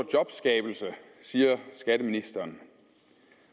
jobskabelse siger skatteministeren